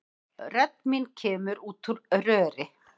Rödd mín kemur út úr röri.